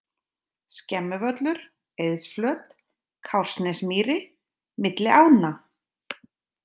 Skemmuvöllur, Eiðsflöt, Kársnesmýri, Milli ánna